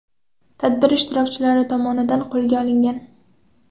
tadbir ishtirokchilari tomonidan qo‘lga olingan.